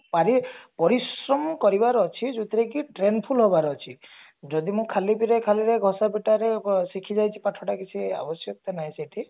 ପାରି ପରିଶ୍ରମ କରିବାର ଅଛି ଯୋଉଥିରେ କି trained full ହବାର ଅଛି ଯଦି ମୁଁ ଖାଲି ରେ ଖଳିରେ ଘଷା ପିଟାରେ ଶିଖି ଯାଇଛି ପାଠ ଟା କିଛି ଆବଶ୍ୟକତା ନାହିଁ ସେଠି